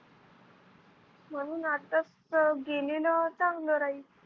म्हणून आत्ताच त गेली न चांगलं राहील.